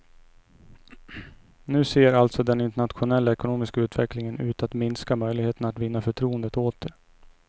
Nu ser alltså den internationella ekonomiska utvecklingen ut att minska möjligheterna att vinna förtroendet åter.